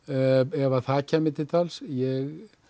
ef að það kæmi til tals ég